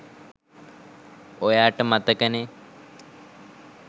ඔයාට මතකනෙ.